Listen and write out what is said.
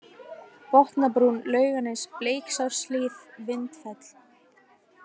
Botnabrún, Lauganes, Bleiksárhlíð, Vindfell